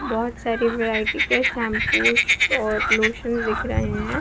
बहुत सारे वैरायटी के शाम्पूस और लोशन दिख रहे हैं।